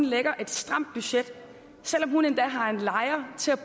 lægger et stramt budget selv om hun endda har en lejer til at